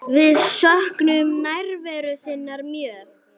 Við söknum nærveru þinnar mjög.